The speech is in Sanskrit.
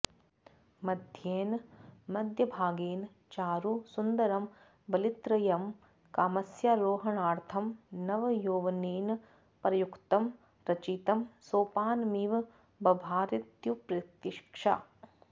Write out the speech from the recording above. मध्येन मध्यभागेन चारु सुन्दरं वलित्रयं कामस्यारोहणार्थं नवयौवनेन प्रयुक्तं रचितं सोपानमिव बभारेत्युत्प्रेक्षा